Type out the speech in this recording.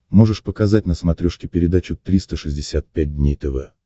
можешь показать на смотрешке передачу триста шестьдесят пять дней тв